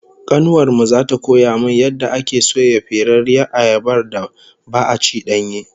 Kanuwar mu zata koya min yadda ake soya ferarriyar ayabar da ba'a ci danye?